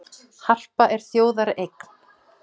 Harpa er þjóðareign